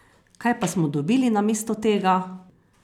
Kaj pa smo dobili namesto tega?